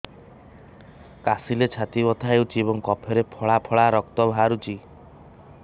କାଶିଲେ ଛାତି ବଥା ହେଉଛି ଏବଂ କଫରେ ପଳା ପଳା ରକ୍ତ ବାହାରୁଚି